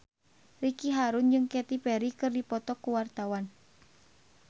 Ricky Harun jeung Katy Perry keur dipoto ku wartawan